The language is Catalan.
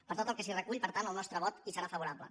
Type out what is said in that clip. per tot el que s’hi recull per tant el nostre vot hi serà favorable